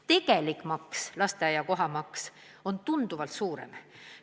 Tegelik lasteaiakoha maksumus on tunduvalt suurem.